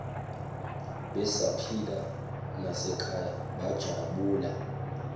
besaphila nasekhaya bajabula